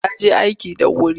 Ya je aiki da wuri.